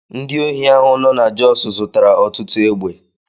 Ndị ohi ahụ nọ na Jos zụtara ọtụtụ egbe.